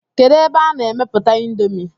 Kedu ebe a na-emeputa índomi?